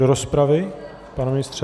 Do rozpravy, pane ministře?